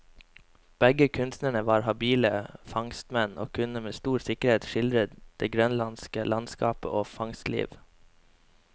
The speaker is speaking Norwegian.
Begge kunstnerne var habile fangstmenn, og kunne med stor sikkerhet skildre det grønlandske landskap og fangstliv.